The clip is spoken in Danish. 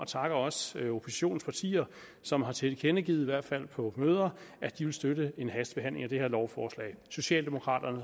takker også oppositionens partier som har tilkendegivet i hvert fald på møder at de vil støtte en hastebehandling af det her lovforslag socialdemokraterne